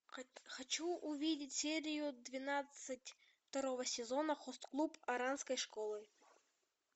хочу увидеть серию двенадцать второго сезона хост клуб оранской школы